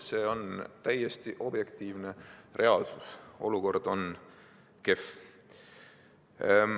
See on täiesti objektiivne reaalsus: olukord on kehv.